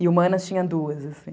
E humanas tinha duas, assim.